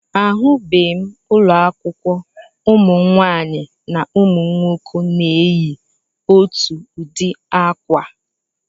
Ahụbeghị m ụlọakwụkwọ ụmụnwaanyị na ụmụnwoke na-eyi otu ụdị akwa